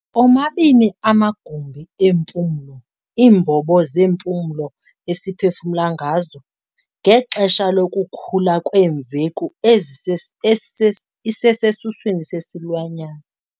omabini amagumbi empulo, iimbobo zempulo esiphefumla ngazo, ngexesha lokukhula kwemveku ezise esise isesesiswini sesilwanyana.